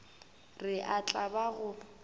re e tla ba go